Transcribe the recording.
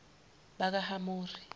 bakahamori